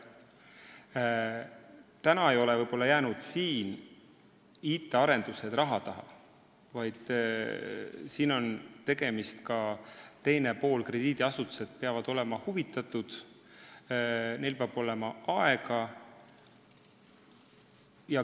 IT-arendused ei ole jäänud ainult raha taha, vaid siin on ka teine pool: krediidiasutused peavad ka olema asjast huvitatud, neil peab olema aega.